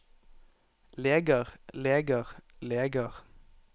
leger leger leger